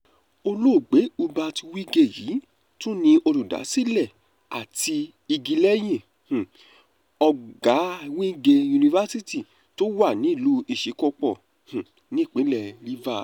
olóògbé hubert wigwe yìí tún ni olùdásílẹ̀ àti igi lẹ́yìn um ọ̀gá wigwe university tó wà nílùú isíkò̩pó̩ um nípínlẹ̀ rivers